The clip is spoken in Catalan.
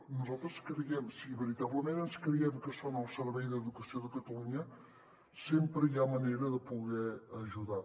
nosaltres creiem si veritablement ens creiem que són al servei d’educació de catalunya sempre hi ha manera de poder los ajudar